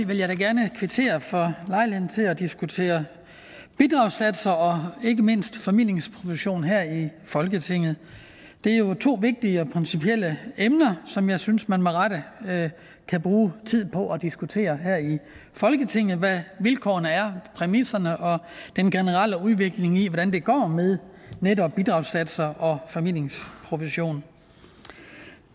vil jeg da gerne kvittere for lejligheden til at diskutere bidragssatser og ikke mindst formidlingsprovision her i folketinget det er jo to vigtige og principielle emner som jeg synes man med rette kan bruge tid på at diskutere her i folketinget altså hvad vilkårene er præmisserne og den generelle udvikling i hvordan det går med netop bidragssatser og formidlingsprovision